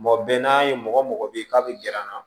Mɔgɔ bɛn n'a ye mɔgɔ mɔgɔ bɛ ye k'a bɛ gɛr'an na